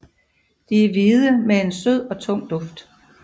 De er hvide med en sød og tung duft